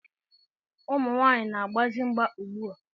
Ụmụ nwaanyị na-agbazi mgba ugbua.